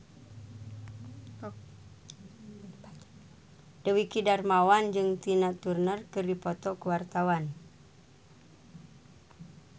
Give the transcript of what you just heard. Dwiki Darmawan jeung Tina Turner keur dipoto ku wartawan